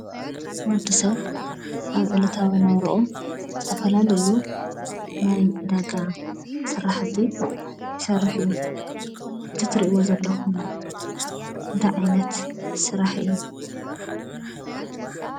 ወድሰብ አብ ዕለታዊ ናብርኡ ዝተፈላለዩ ናይ ዕዳጋ ስራሕቲ ዝሰርሕ እዩ። እዚ ትሪእዎ ዘለኩም እንታይ ዓይነት ስራሕ እዩ?